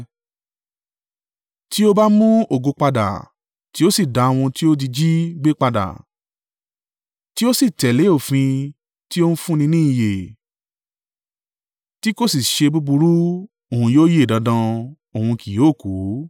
Tí ó bá mu ògo padà, tí o sì da ohun tí o ti jí gbé padà, tí ó sì tẹ̀lé òfin tí ó ń fún ni ní ìyè, tí kò sì ṣe búburú, òun yóò yè dandan; òun kì yóò kú.